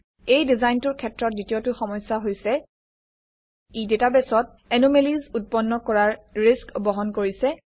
এই ডিজাইনটোৰ ক্ষেত্ৰত দ্বিতীয়টো সমস্যা হৈছে ই ডাটাবেছত এনোমেলিজ উৎপন্ন কৰাৰ ৰিস্ক বহন কৰিছে